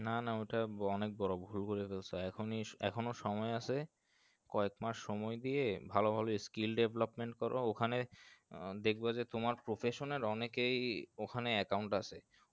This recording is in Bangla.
নানা ওইটা অনেক বড়ো ভুলকরে ফেলসে এখনই এখন ও সময় আসে কয়েক মাস সময় দিয়ে ভালো ভালো skill development করো ওখানে দেখবা যে তোমার professional অনেকেই ওখানে একাউন্ট আছে